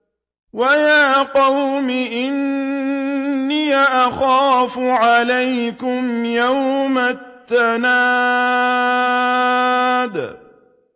وَيَا قَوْمِ إِنِّي أَخَافُ عَلَيْكُمْ يَوْمَ التَّنَادِ